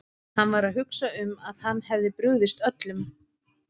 Hann var að hugsa um að hann hefði brugðist öllum.